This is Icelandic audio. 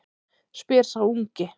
spyr sá ungi.